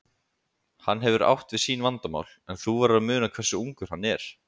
Hann hefur átt við sín vandamál, en þú verður að muna hversu ungur hann er.